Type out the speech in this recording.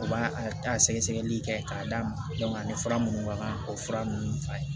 U b'a a ta sɛgɛsɛgɛli kɛ k'a d'a ma a ni fura minnu ka kan o fura ninnu fa ye